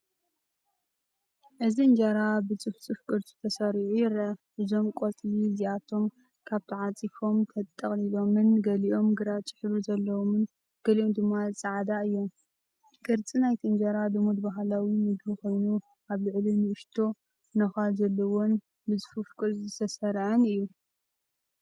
እዚ እንጀራ ብጽፉፍ ቅርጺ ተሰሪዑ ይረአ። እዞም ቆጽሊ እዚኣቶም ከም ተዓጺፎምን ተጠቕሊሎምን፡ ገሊኦም ግራጭ ሕብሪ ዘለዎም ገሊኦም ድማ ጻዕዳ እዮም። ቅርጺ ናይቲ እንጀራ ልሙድ ባህላዊ መግቢ ኮይኑ፡ኣብ ላዕሊ ንእሽቶ ነዃል ዘለዎን ብጽፉፍ ቅርጺ ዝተሰርዐን እዩ።